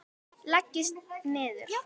Leggist niður.